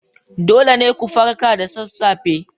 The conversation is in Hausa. Dole ne ku farka da sassafe